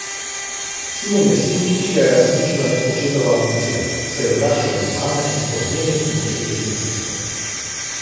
Simon je sin, ki ga je uničila očetova ambicija, saj je odraščal brez mame in pod nenehnim očetovim pritiskom.